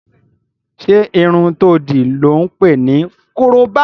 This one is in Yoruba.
Ṣé irun to dì lọ́ ǹ pè ní korobá?